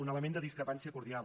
un element de discrepància cordial